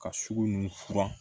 Ka sugu nunnu furan